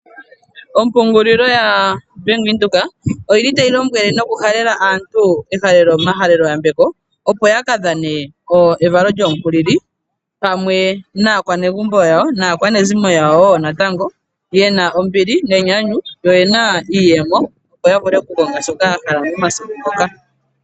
Ompungulilo yaBank Windhoek oyili tayi lombwele noku halela aantu omayambeko opo yaka dhaneko evalo lyomukulili pamwe naanegumbo yawo, naakwanezimo wo yawo natango yeye te na ombili nenyanyu, yo oye na wo iiyemo opo ya vule oku konga shoka ya hala momasiku moka.